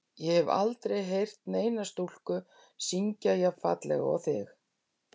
Ég hef aldrei heyrt neina stúlku syngja jafn fallega og þig.